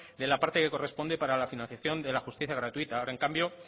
de la parte que corresponde para la financiación de la justicia gratuita ahora en cambio